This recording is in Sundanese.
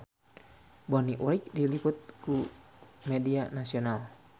Bonnie Wright diliput ku media nasional